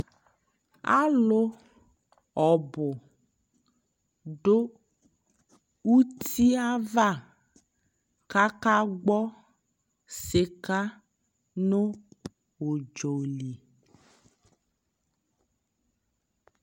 alʋ ɔbʋ dʋ ʋti aɣa kʋ aka gbɔ sika nʋ ʋdzɔli